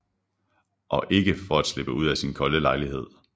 Og ikke for at slippe ud af sin kolde lejlighed